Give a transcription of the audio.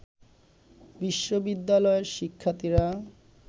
বিশ্ববিদ্যালয়ের শিক্ষার্থীরা